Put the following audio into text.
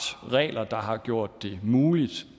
regler der har gjort det muligt